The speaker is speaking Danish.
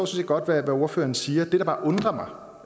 set godt hvad ordføreren siger det der bare undrer